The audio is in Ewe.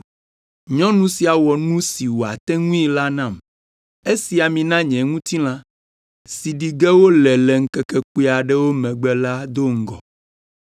“Nyɔnu sia wɔ nu si wòate ŋui la nam. Esi ami na nye ŋutilã, si ɖi ge wole le ŋkeke kpui aɖewo megbe la do ŋgɔ.